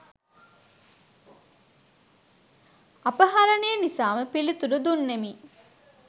අපහරණය නිසාම පිළිතුරු දුන්නෙමි